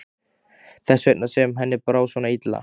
Þess vegna sem henni brá svona illa.